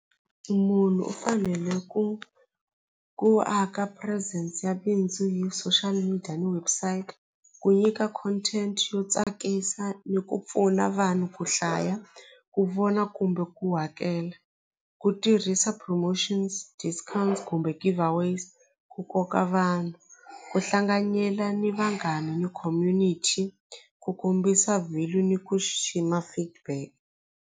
Munhu u fanele ku ku aka presence ya bindzu hi social media ni website ku nyika content yo tsakisa ni ku pfuna vanhu ku hlaya ku vona kumbe ku hakela ku tirhisa promotions discounts kumbe give aways ku koka vanhu ku hlanganyela ni vanghani ni community ku kombisa value ni ku xixima feedback.